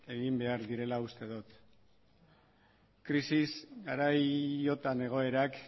behar direla uste dut krisis garaiotan egoerak